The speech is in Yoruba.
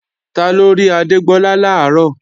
Taló rí Adégbọlá làárọ̀?